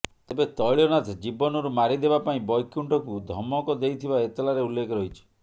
ତେବେ ତଇଳ ନାଥ ଜୀବନରୁ ମାରିଦେବା ପାଇଁ ବୈକୁଣ୍ଠକୁ ଧମକ ଦେଇଥିବା ଏତାଲାରେ ଉଲ୍ଲେଖ ରହିଛି